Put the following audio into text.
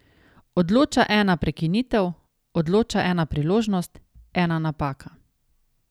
Odloča ena prekinitev, odloča ena priložnost, ena napaka.